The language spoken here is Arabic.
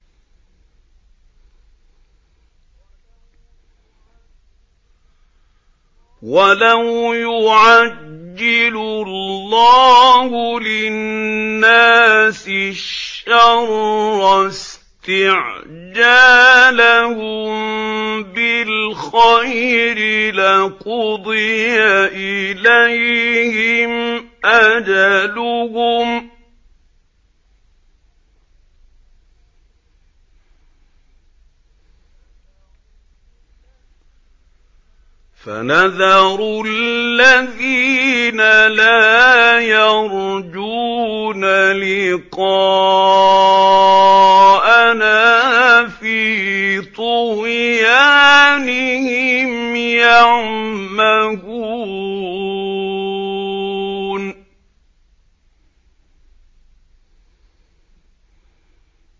۞ وَلَوْ يُعَجِّلُ اللَّهُ لِلنَّاسِ الشَّرَّ اسْتِعْجَالَهُم بِالْخَيْرِ لَقُضِيَ إِلَيْهِمْ أَجَلُهُمْ ۖ فَنَذَرُ الَّذِينَ لَا يَرْجُونَ لِقَاءَنَا فِي طُغْيَانِهِمْ يَعْمَهُونَ